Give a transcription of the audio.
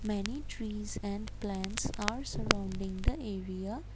many trees and plants are surrounding the area.